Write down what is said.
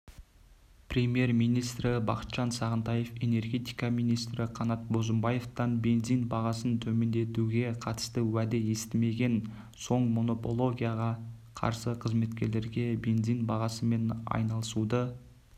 премьер-министрі бақытжан сағынтаев энергетика министрі қанат бозымбаевтан бензин бағасын төмендетуге қатысты уәде естімеген соңмонополияға қарсы қызметтегілерге бензин бағасымен айналысуды